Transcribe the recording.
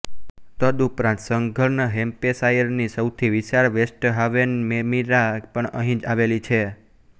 તદુપરાંત સધર્ન હેમ્પેશાયરની સૌથી વિશાળ વેસ્ટહાવેન મેરિમા પણ અહીં આવેલી છે